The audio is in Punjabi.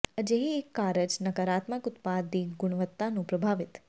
ਅਜਿਹੇ ਇੱਕ ਕਾਰਜ ਨਾਕਾਰਾਤਮਕ ਉਤਪਾਦ ਦੀ ਗੁਣਵੱਤਾ ਨੂੰ ਪ੍ਰਭਾਵਿਤ